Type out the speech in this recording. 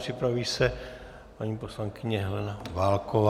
Připraví se paní poslankyně Helena Válková.